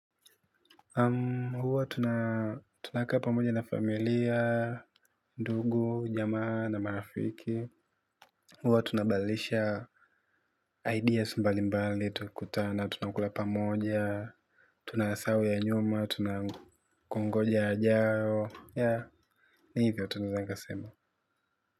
Huwa tunakaa pamoja na familia, ndugu, jamaa na marafiki. Huwa tunabalisha ideas mbalimbali tukikutana. Tunakula pamoja, tunasawi ya nyuma, tunakungoja yajao. Ya, ni hivyo tunaweza sema.